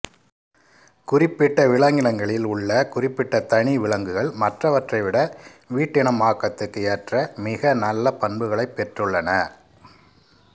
குறிப்பிட்ட விலங்கினங்களில் உள்ள குறிப்பிட்ட தனி விலங்குகள் மற்றவற்றை விட வீட்டினமாக்கத்துக்கு ஏற்ற மிக நல்ல பண்புகளைப் பெற்றுள்ளன